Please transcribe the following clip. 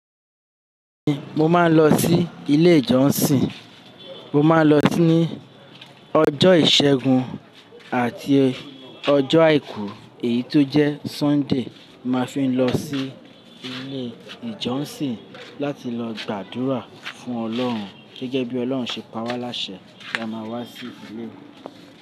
Mo máa ń lọ sí ilé ìjọsìn. Mo máa ń lọ sí ní ọjọ́ ìṣẹ́gun àti ọjọ́ àìkú èyí tó jẹ́ Sunday. Mo máa fi ń lọ sí ilé ìjọsìn láti lọ gbàdúrà fún Ọlọ́run gẹ́gẹ́ bí Ọlọ́run ṣe pawa láṣẹ kí a máa wá sí ilé rẹ̀